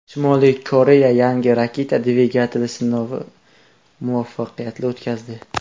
Shimoliy Koreya yangi raketa dvigateli sinovini muvaffaqiyatli o‘tkazdi.